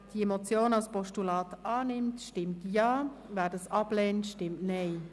Wer diese Motion als Postulat annimmt, stimmt Ja, wer dies ablehnt, stimmt Nein.